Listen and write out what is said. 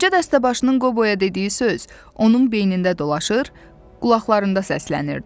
Qoca dəstəbaşının Qoboya dediyi söz onun beynində dolaşır, qulaqlarında səslənirdi.